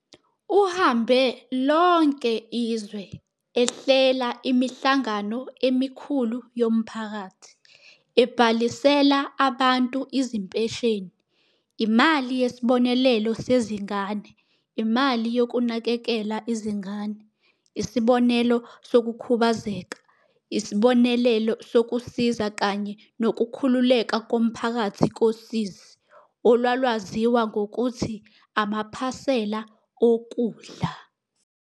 Uhambe lonke izwe, ehlela imihlangano emikhulu yomphakathi, ebhalisela abantu izimpesheni, imali yesibonelelo sezingane, imali yokunakekela izingane, isibonelelo sokukhubazeka, isibonelelo sokusiza kanye nokukhululeka komphakathi kosizi, olwalwaziwa ngokuthi amaphasela okudla.